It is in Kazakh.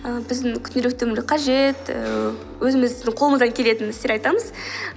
ііі біздің күнделікті өмір қажет ііі өзіміздің қолымыздан келетін істер айтамыз